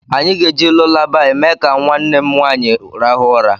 Anyị ga-eji lulabaị mee ka nwanne m nwaanyị rahụ ụra..